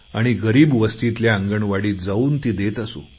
आणि गरीब वस्तीतल्या आंगणवाडीत जाऊन ती देत असू